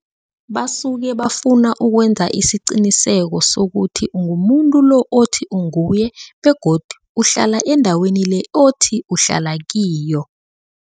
Basuke bafuna ukwenza isiqiniseko sokuthi ungumuntu lo othi unguye begodu uhlala endaweni le othi uhlala kiyo.